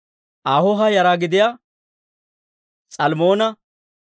Ahooha yara gidiyaa S'almmoona,